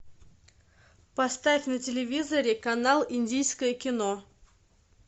поставь на телевизоре канал индийское кино